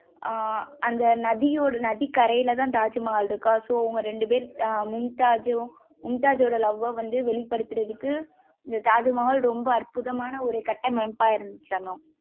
ஆஹ் அந்த நதியோட நதி கரையில தான் தாஜ்மஹால் இருக்கா so அவங்க ரெண்டு பேரும் மும்தாஜ்ம் மும்தாஜ் ஓட love வ வந்து வெளிப்படுத்துவதற்கு இந்த தாஜ்மஹால் ரொம்ப அற்புதமான ஒரு கட்டமைப்பா இருந்துச்சு அனு.